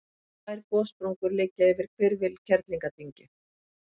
tvær gossprungur liggja yfir hvirfil kerlingardyngju